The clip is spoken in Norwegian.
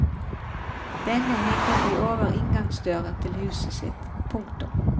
Denne henger de over inngangsdøren til huset sitt. punktum